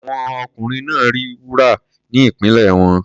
Àwọn ọkùnrin náà rí wúrà ní ìpínlẹ̀ wọn.